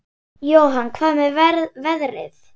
Jóhann: Hvað með veðrið?